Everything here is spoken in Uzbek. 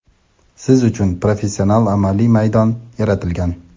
siz uchun professional amaliy maydon yaratilgan!.